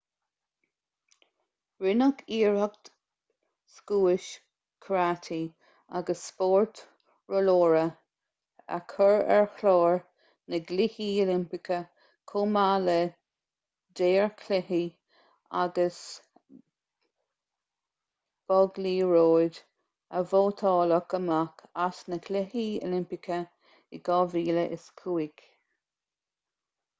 rinneadh iarracht scuais karate agus spórt rollóra a chur ar chlár na gcluichí oilimpeacha chomh maith le daorchluiche agus bogliathróid a vótáladh amach as na cluichí oilimpeacha in 2005